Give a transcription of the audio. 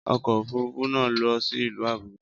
Ọkọ̀ òfúrufú náà ń lọ sí ìlú Àbújá